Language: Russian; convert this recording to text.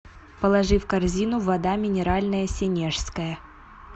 положи в корзину вода минеральная сенежская